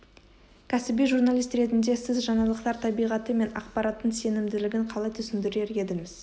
кәсіби журналист ретінде сіз жаңалықтар табиғаты мен ақпараттың сенімділігін қалай түсіндірер едіңіз